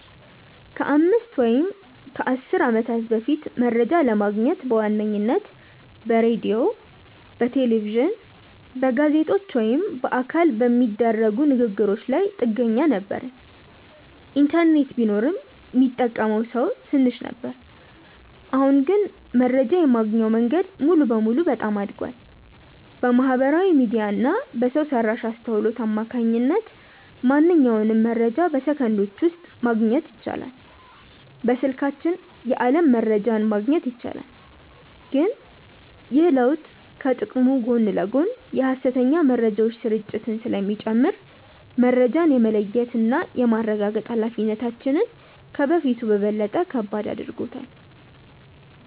ከአምስት ወይም ከአሥር ዓመታት በፊት መረጃ ለማግኘት በዋነኝነት በሬዲዮ፣ በቴሌቪዥን፣ በጋዜጦች ወይም በአካል በሚደረጉ ንግ ግሮች ላይ ጥገኛ ነበርን። ኢንተርኔት ቢኖርም ሚጠቀመው ሰው ትንሽ ነበር። አሁን ግን መረጃ የማግኛው መንገድ ሙሉ በሙሉ በጣም አድጓል። በማህበራዊ ሚዲያ እና በሰው ሰራሽ አስውሎት አማካኝነት ማንኛውንም መረጃ በሰከንዶች ውስጥ ማግኘት ይቻላል። በስልካችን የዓለም መረጃን ማግኘት ይቻላል። ግን ይህ ለውጥ ከጥቅሙ ጎን ለጎን የሐሰተኛ መረጃዎች ስርጭትን ስለሚጨምር፣ መረጃን የመለየትና የማረጋገጥ ኃላፊነታችንን ከበፊቱ በበለጠ ከባድ አድርጎታል።